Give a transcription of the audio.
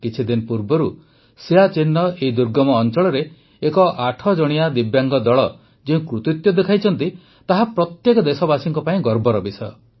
କିଛିଦିନ ପୂର୍ବରୁ ସିୟାଚୀନର ଏହି ଦୁର୍ଗମ ଅଂଚଳରେ ଏକ ୮ ଜଣିଆ ଦିବ୍ୟାଙ୍ଗ ଦଳ ଯେଉଁ କୃତିତ୍ୱ ଦେଖାଇଛନ୍ତି ତାହା ପ୍ରତ୍ୟେକ ଦେଶବାସୀଙ୍କ ପାଇଁ ଗର୍ବର ବିଷୟ